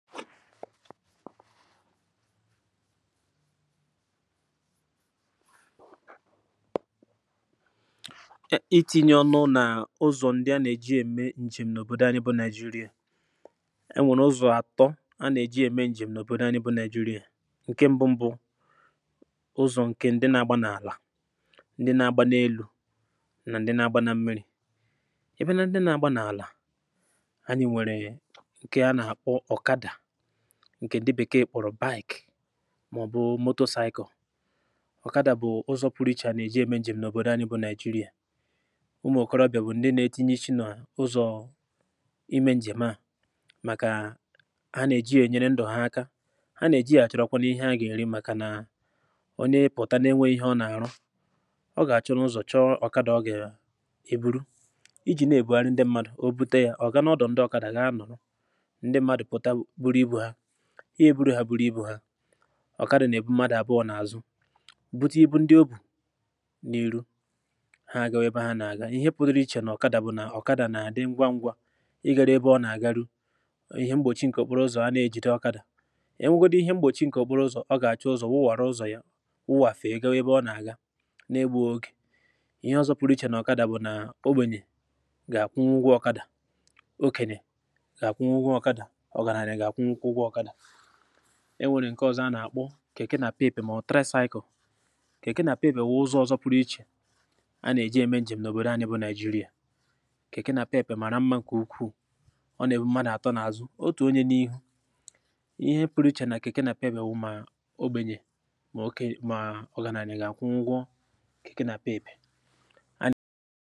ị tinye ọnụ nà ụzọ̀ ndị a nà-èji ème ǹjèm n’òbòdò anyị bụ naịjurịà e nwèrè ụzọ̀ àtọ a nà-èji ème ǹjèm n’òbòdò anyị bụ naịjurịà ǹke mbụ mbụ ụzọ̀ ǹke ndị nȧ-agba n’àlà ndị nȧ-agba n’elu̇ nà ndị nȧ-agba nà mmiri̇ ebe na ndị na-agba n’àlà ǹkè ǹdị bèkeè kpọ̀rọ̀ bàyèkè màọ̀bụ̀ motòsaịkọ̀ ọ̀kàdà bụ̀ ụzọ̀ pụrụ̇chà nà-èji eme njem̀ n’òbòdò anị bụ̇ nigeria ụmụ̀kọrọbịà bụ̀ ndị nȧ-etinye ichi nọ̀ n’ụzọ̀ ime njem à màkà a nà-èji ya ènyere ndụ̀ ha aka a nà-èji ya achụ̀rụ̀kwana ihe a gà-èri màkà nà onye pụ̀ta n’enwe ihe ọ nà-àrụ ọ gà-àchụ nzọ̀ chọọ ọ̀kàdà ọ gà-èburu iji̇ na-èbụ arị ndị mmadụ̀ o bute yȧ ọ̀ gà n’ọdụ̀ ndị ọ̀kàdà gà-anọ̀rọ̀ ihe eburu ha bụrụ ibu̇ ha ọ̀kadị̀ nà ebu madà bụọ n’àzụ but ịbụ ndị obù n’ihu ha agȧwebe ha n’àga ihe pụtara ichè nà ọ̀kadà bụ̀ nà ọ̀kadà n’àdị ngwa ngwȧ igȧra ebe ọ nà-àgaru ihe mgbòchi ǹkè okporo ụzọ̀ a na-ejìde ọkadà ihe mgbòchi ǹkè ọ̀poro ụzọ̀ ọ gà-àchụ ụzọ̀ wụwàra ụzọ̀ ya ụwàfè ihe ebe ọ n’àga na-egbu ogè ihe ọzọ pụrụ ichè nà ọ̀kadà bụ̀ nà omenyè gà-àkwụ n’ugwu ọkadà okénè enwèrè ǹke ọzọ a nà-àkpọ kèke nà-àpeèpè mà ọ̀ traịsaị̇kọ̀ kèke nà-àpeèbè wụ̀ ụzọ̇ ọzọ pụrụ ichè a nà-èje eme ǹjèm n’òbòdo anyị bụ nàịjirịa kèke nà-àpeèpè mà ra mma ǹkè ukwuù ọ nà-èbu mmadụ̀ àtọ n’azụ otù onye n’ihu ihe pụrụ ichè nà kèke nà-àpeèbè wụ̀ ma ogbènyè mà ọ ga na-anyị̀ gà-àkwụ ngwọ